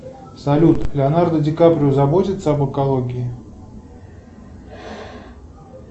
салют леонардо ди каприо заботится об экологии